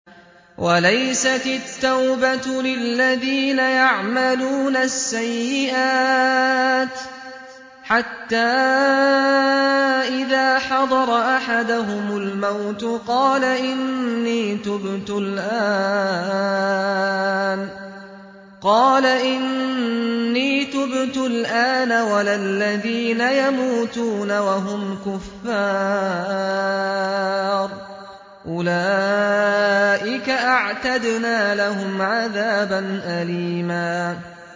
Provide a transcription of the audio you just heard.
وَلَيْسَتِ التَّوْبَةُ لِلَّذِينَ يَعْمَلُونَ السَّيِّئَاتِ حَتَّىٰ إِذَا حَضَرَ أَحَدَهُمُ الْمَوْتُ قَالَ إِنِّي تُبْتُ الْآنَ وَلَا الَّذِينَ يَمُوتُونَ وَهُمْ كُفَّارٌ ۚ أُولَٰئِكَ أَعْتَدْنَا لَهُمْ عَذَابًا أَلِيمًا